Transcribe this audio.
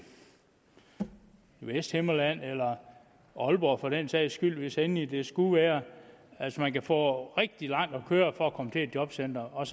vesthimmerland eller aalborg for den sags skyld hvis endelig det skulle være altså man kan få rigtig langt at køre for at komme til et jobcenter og